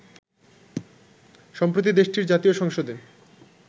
সম্প্রতি দেশটির জাতীয় সংসদে